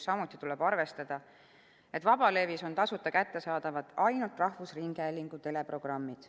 Samuti tuleb arvestada seda, et vabalevis on tasuta kättesaadavad ainult rahvusringhäälingu teleprogrammid.